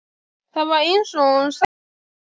Það var eins og hún sæi draug.